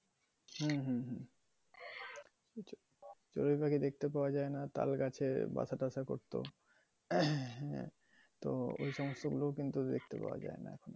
হম হম হম। চরুই পাখি দেখতে পাওয়া যায়না তালগাছে বাসা তাসা করতো। তো এটা হচ্ছে দেখতে পাওয়া যায়না।